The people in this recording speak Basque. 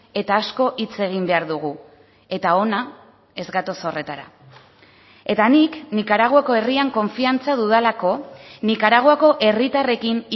eta asko hitz egin behar dugu eta hona ez gatoz horretara eta nik nikaraguako herrian konfiantza dudalako nikaraguako herritarrekin